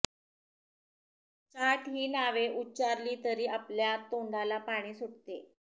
चाट ही नावे उच्चारली तरी आपल्या तोंडाला पाणी सुटते